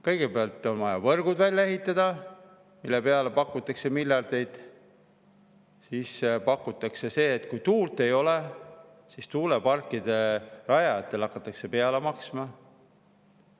Kõigepealt on vaja võrgud välja ehitada, mille peale miljardeid, siis, et kui tuult ei ole, siis tuuleparkide rajajatele hakata peale maksma.